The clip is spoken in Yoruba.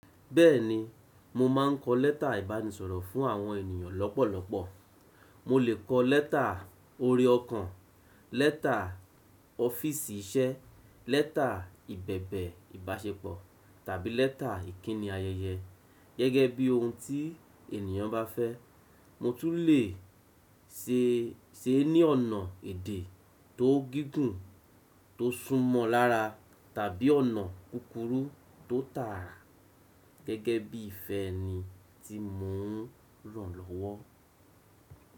Bẹ́ẹ̀ni, mo máà ń kọ lẹ́tà ìbánisọ̀rọ̀ fún àwọn ènìyàn lọ́pọ̀lọpọ̀. Mo lè kọ lẹ́tà ore ọkàn, lẹ́tà ọ́fíìsì iṣẹ́, lẹ́tà ìbẹ̀bẹ̀ ìbáṣepọ̀, tàbí lẹ́tà ìkíni ayẹyẹ, gẹ́gẹ́ bí ohun tí ènìyàn bá fẹ́. Mo tún lè se é ní ọ̀nà èdè tó gígùn, tó súnmọ́ lára tàbí ọ̀nà kúkúrú tó tààrà, gẹ́gẹ́ bí ìfẹ́ni tí mo ń ràn lọ́wọ́.